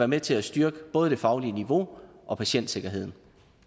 med til at styrke både det faglige niveau og patientsikkerheden